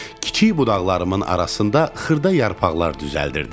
Kiçik budaqlarımın arasında xırda yarpaqlar düzəltdim.